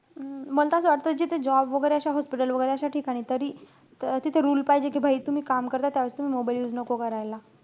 हम्म मल त असं वाटतं जिथे job वैगेरे, अशा hospital वैगेरे, अशा ठिकाणी तरी तिथं rule पाहिजे. कि तुम्ही काम करताय, त्यावेळेस तुम्ही mobile use नको करायला.